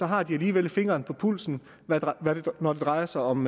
har de alligevel fingeren på pulsen når det drejer sig om